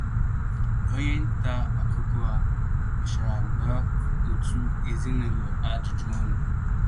Ọnye nta akụkọ a mechara gbaa ọtụ ezinụlọ ajụjụ ọnụ.